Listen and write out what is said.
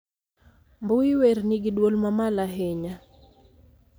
mbui werni gi dwol mamalo ahinya